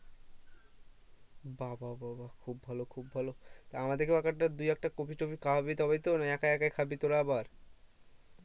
বাহ বাহ বাহ বাহ খুব ভালো খুব ভালো তা আমাদের কেও এক একটা দু একটা কপি খাওয়াবি তবেই তো না একা একাই খাবি তোরা আবার